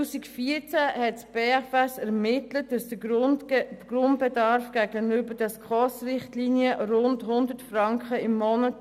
Im Jahr 2014 hat das BFS ermittelt, dass der Grundbedarf der SKOSRichtlinien gemäss HABE rund 10 Prozent tiefer ist als der Grundbedarf der einkommensschwächsten Haushalte in der Schweiz.